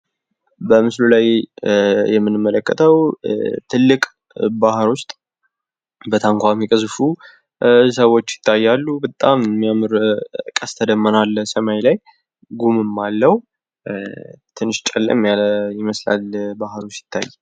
በምስሉ የምንመለከተው ትልቅ ባህር ውስጥ በታንኳ የሚቀዝፉ ሰዎች ይታያሉ። በጣም የሚያምር ቀስተደመና አለ ሰማይ ላይ ጉም አለው ትንሽ ጨለማ ያለ ይመስላል ባህሩ ሲታይ